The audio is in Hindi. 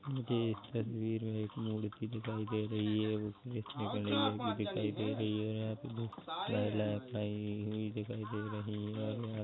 मुझे इस तस्वीर में एक मूर्ति दिखाई दे रही है उसमें श्री गणेश जी कि दिखाई दे रही है और यहाँ पे बहुत महिलायें खड़ी हुई दिखाई दे रही है और यहाँ --